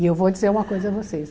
E eu vou dizer uma coisa a vocês.